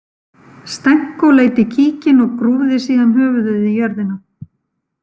Stenko leit í kíkinn og grúfði síðan höfuðið í jörðina.